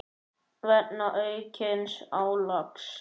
vegna aukins álags.